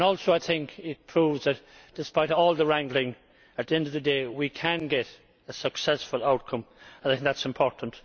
I think it also proves that, despite all the wrangling, at the end of the day we can get a successful outcome, and that is important.